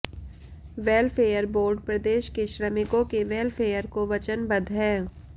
welfare board प्रदेश के श्रमिकों के वेलफेयर को वचनबद्ध है